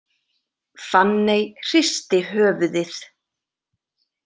Fanney hristi höfuðið.